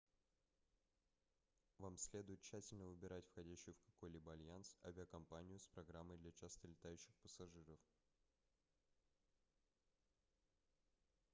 вам следует тщательно выбирать входящую в какой-либо альянс авиакомпанию с программой для часто летающих пассажиров